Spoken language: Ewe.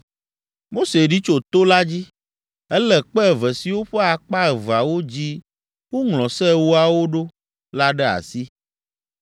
Mose ɖi tso to la dzi. Elé kpe eve siwo ƒe akpa eveawo dzi woŋlɔ Se Ewoawo ɖo la ɖe asi.